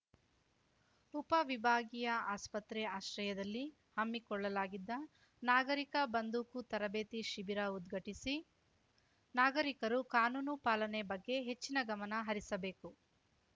ಉಪವಿಭಾಗೀಯ ಆಸ್ಪತ್ರೆ ಆಶ್ರಯದಲ್ಲಿ ಹಮ್ಮಿಕೊಳ್ಳಲಾಗಿದ್ದ ನಾಗರೀಕ ಬಂದೂಕು ತರಬೇತಿ ಶಿಬಿರ ಉದ್ಘಾಟಿಸಿ ನಾಗರೀಕರು ಕಾನೂನು ಪಾಲನೆ ಬಗ್ಗೆ ಹೆಚ್ಚಿನ ಗಮನ ಹರಿಸಬೇಕು